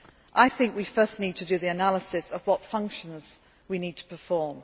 I think we first need to do the analysis of what functions we need to